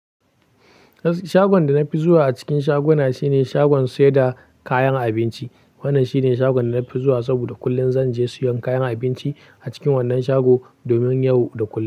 Shagon da na fi zuwa a cikin shaguna shine shagon saida kayan abinci. Wannan shine shagon da na fi zuwa saboda kullum zan je siyan kayan abinci a cikin wannan shago domin yau da kullum.